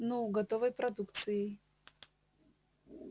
ну готовой продукцией